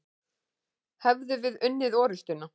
Hefðum við unnið orustuna?